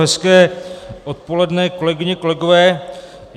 Hezké odpoledne, kolegyně, kolegové.